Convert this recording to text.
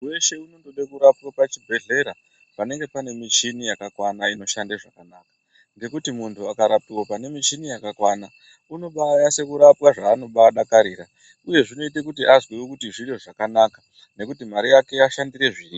Muntu weshe unongoda kurapwa pachibhehlera paanenge pane michini yakakwana inoshande zvakanaka ngekuti muntu akarapwa pane michini yakakwana unombanasa kurapwa zvanobadakarira uye zvinoita kuti zviro zvakanaka nekuti mare yake yashandira zviripo.